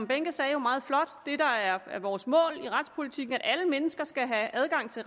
behnke sagde jo meget flot det der er vores mål i retspolitikken er at alle mennesker skal have adgang til